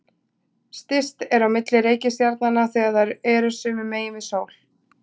Styst er á milli reikistjarnanna þegar þær eru sömu megin við sól.